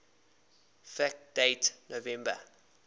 fact date november